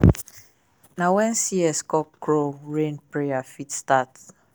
na when cock crow rain prayer fit start.